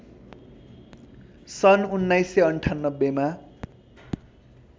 सन् १९९८ मा